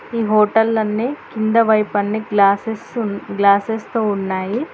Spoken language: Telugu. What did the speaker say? ఈ హోటల్ నన్నే కిందవైపు అన్ని గ్లాసెస్ గ్లాసెస్ తో ఉన్నాయి.